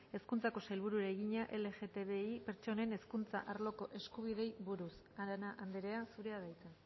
hezkuntzako sailburuari egina lgtbi pertsonen hezkuntza arloko eskubideei buruz arana andrea zurea da hitza